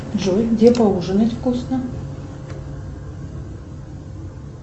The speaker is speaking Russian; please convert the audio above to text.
джой где поужинать вкусно